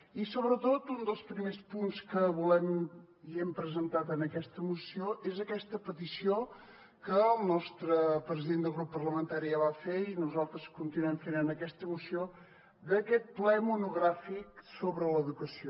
i sobretot un dels primers punts que volem i hem presentat en aquesta moció és aquesta petició que el nostre president del grup parlamentari ja va fer i nosaltres continuem fent en aquesta moció d’aquest ple monogràfic sobre l’educació